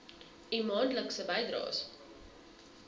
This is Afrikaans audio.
u maandelikse bydraes